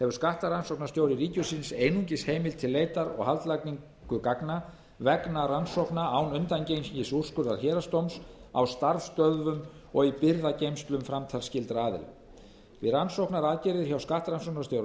hefur skattrannsóknarstjóri ríkisins einungis heimild til leitar og haldlagningar gagna vegna rannsókna án undangengins úrskurðar héraðsdóms á starfsstöðvum og í birgðageymslum framtalsskyldra aðila við rannsóknaraðgerðir hjá skattrannsóknarstjóra